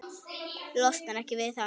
Losnar ekki við hann.